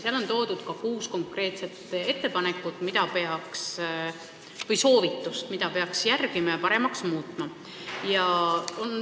Seal on ära toodud ka kuus konkreetset soovitust, mida peaks järgima ja paremaks muutma.